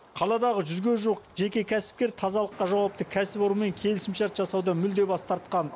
қаладағы жүзге жуық жеке кәсіпкер тазалыққа жауапты кәсіпорынмен келісімшарт жасаудан мүлде бас тартқан